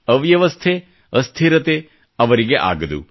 ಅವ್ಯವಸ್ಥೆ ಅಸ್ಥಿರತೆ ಅವರಿಗೆ ಆಗದು